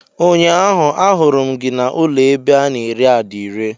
Ụnyaahụ ahuru m gị na ụlọ ebe ana ere adire.